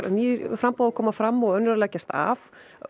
ný framboð að koma fram og önnur að leggjast af